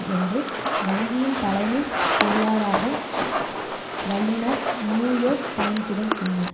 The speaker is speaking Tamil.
என்று வங்கியின் தலைமை பொருளாராக வல்லுனர் நியூ யோர்க் டைம்ஸிடம் கூறினார்